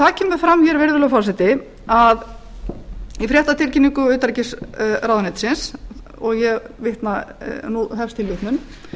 það kemur fram hér virðulegi forseti að í fréttatilkynningu utanríkisráðuneytisins og ég vitna nú hefst tilvitnun